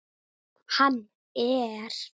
Hann er.